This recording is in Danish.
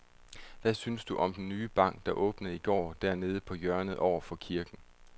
Hvad synes du om den nye bank, der åbnede i går dernede på hjørnet over for kirken?